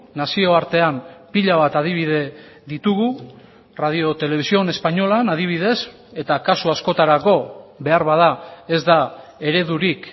nazioartean pila bat adibide ditugu radio televisión españolan adibidez eta kasu askotarako beharbada ez da eredurik